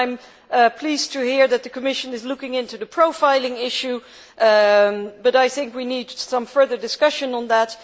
I am pleased to hear that the Commission is looking into the profiling issue, but I think that we need some further discussion on that.